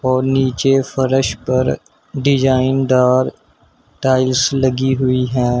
और नीचे फर्श पर डिजाइन दार टाइल्स लगी हुई है।